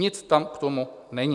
Nic tam k tomu není.